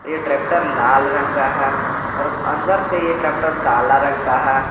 ये ट्रैक्टर लाल रंग का है और अंदर से यह ट्रैक्टर काला रंग का है।